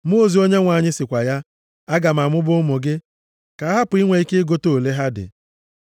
Mmụọ ozi Onyenwe anyị sịkwa ya, “Aga m amụba ụmụ gị, ka a hapụ inwe ike ịgụta ole ha dị.”